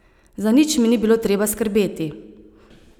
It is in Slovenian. Za nič mi ni bilo treba skrbeti.